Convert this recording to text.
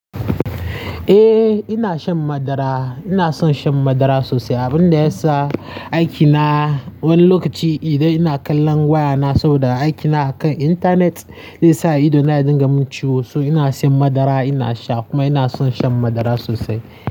Eh ina shan madara. Ina son shan madara sosai abun da ya sa aiki na wani lokaci idan ina kallon waya na saboda aiki na akan intanet, zai sa ido na ya dinga mun ciwo. So ina shan madara ina sha kuma ina son shan madara sosai.